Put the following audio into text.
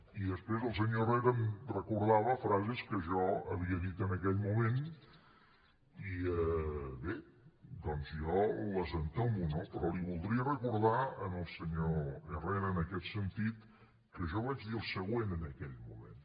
i després el senyor herrera em recordava frases que jo havia dit en aquell moment i bé doncs jo les entomo no però li voldria recordar al senyor herrera en aquest sentit que jo vaig dir el següent en aquell moment